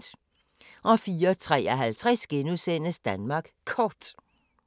04:53: Danmark Kort *